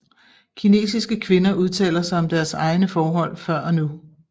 Kinesiske kvinder udtaler sig om deres egne forhold før og nu